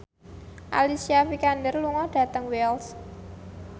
Alicia Vikander lunga dhateng Wells